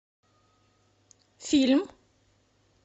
фильм